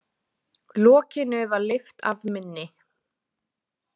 Lokinu var lyft af minni.